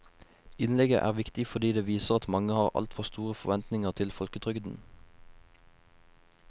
Innlegget er viktig fordi det viser at mange har altfor store forventninger til folketrygden.